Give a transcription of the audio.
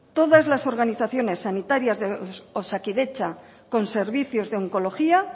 todas las organizaciones sanitarias de osakidetza con servicios de oncología